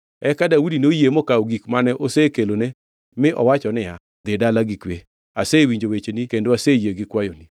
Eka Daudi noyie mokawo gik mane osekelone mi owacho niya, “Dhi dala gi kwe. Asewinjo wecheni kendo aseyie gi kwayoni.”